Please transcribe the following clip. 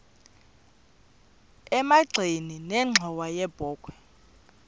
emagxeni nenxhowa yebokhwe